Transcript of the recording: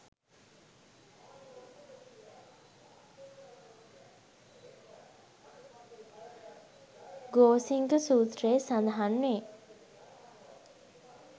ගෝසිංග සූත්‍රයේ සඳහන් වේ.